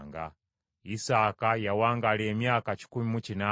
Isaaka yawangaala emyaka kikumi mu kinaana.